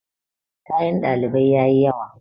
kayan ɗalibai ya yi yawa